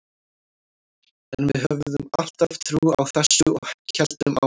En við höfðum alltaf trú á þessu og héldum áfram.